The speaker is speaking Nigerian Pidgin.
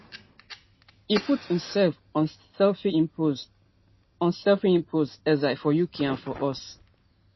e put imsef on sefimpose on sefimpose exile for uk and for us